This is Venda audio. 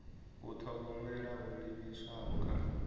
u thogomela ho livhiswaho kha